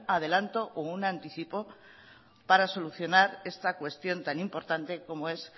adelanto como un anticipo para solucionar esta cuestión tan importante como es